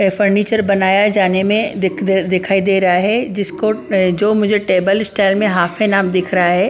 Furniture बनाया जाने में दिखाई दे रहा है जिसको जो मुझे टेबल स्टाइल में हाफ एंड हाफ दिख रहा है ।